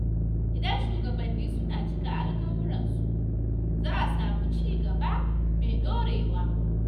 Idan shugabanni suna cika alƙawuransu, za a samu ci gaba mai ɗorewa.